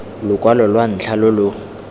lokwalo lwa ntlha lo lo